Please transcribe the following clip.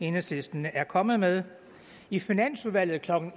enhedslisten er kommet med i finansudvalget klokken